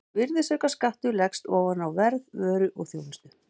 Virðisaukaskattur leggst ofan á verð vöru og þjónustu.